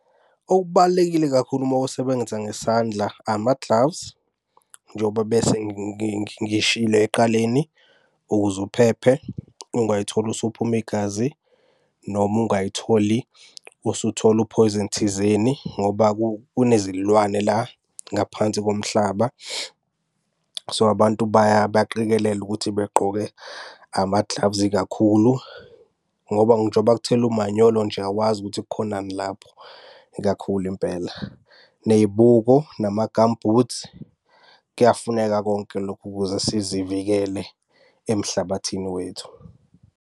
Okubalulekile kakhulu uma usebenza ngesandla ama-gloves njengoba bese ngishilo ekuqaleni, ukuze uphephe ungay'tholi usuphuma igazi, noma ungay'tholi usuthola uphoyizeni thizeni ngoba kunezilwane la ngaphansi komhlaba. So, abantu baqikelele ukuthi begqoke ama-gloves kakhulu ngoba njoba kuthelwa umanyolo nje awazi ukuthi kukhonani lapho ikakhulu impela. Ney'buko, nama-gum boots, kuyafuneka konke lokhu ukuze sizivikele emhlabathini wethu.